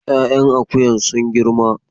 Ya'yan akuyan sun girma